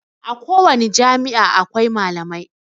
A kowani jami'a akwai malamai